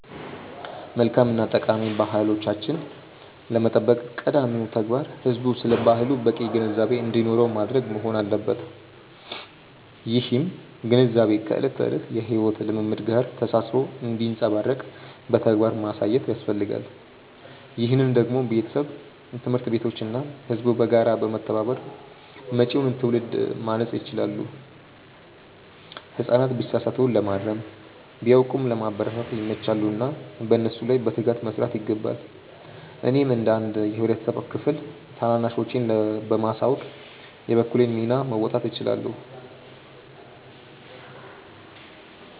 መልካም እና ጠቃሚ ባህሎቻችንን ለመጠበቅ ቀዳሚው ተግባር ህዝቡ ስለ ባህሉ በቂ ግንዛቤ እንዲኖረው ማድረግ መሆን አለበት። ይህም ግንዛቤ ከዕለት ተዕለት የሕይወት ልምምድ ጋር ተሳስሮ እንዲንጸባረቅ በተግባር ማሳየት ያስፈልጋል። ይህንን ደግሞ ቤተሰብ፣ ትምህርት ቤቶች እና ህዝቡ በጋራ በመተባበር መጪውን ትውልድ ማነጽ ይችላሉ። ህጻናት ቢሳሳቱ ለማረም፣ ቢያውቁም ለማበረታታት ይመቻሉና በእነሱ ላይ በትጋት መስራት ይገባል። እኔም እንደ አንድ የህብረተሰብ ክፍል ታናናሾቼን በማሳወቅ የበኩሌን ሚና መወጣት እችላለሁ።